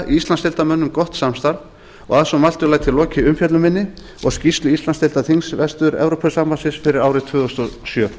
íslandsdeildarmönnum gott samstarf og að svo mæltu læt ég lokið umfjöllun minni um skýrslu íslandsdeildar þings vestur evrópusambandsins fyrir árið tvö þúsund og sjö